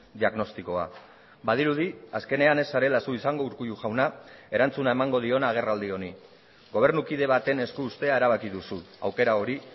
diagnostikoa badirudi azkenean ez zarela zu izango urkullu jauna erantzuna emango diona agerraldi honi gobernukide baten esku uztea erabaki duzu aukera hori